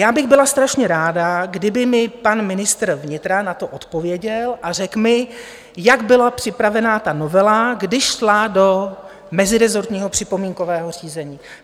Já bych byla strašně ráda, kdyby mi pan ministr vnitra na to odpověděl a řekl mi, jak byla připravená ta novela, když šla do mezirezortního připomínkového řízení.